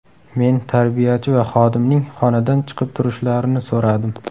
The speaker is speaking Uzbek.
Men tarbiyachi va xodimning xonadan chiqib turishlarini so‘radim.